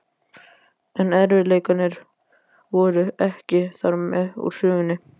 En erfiðleikarnir voru ekki þarmeð úr sögunni.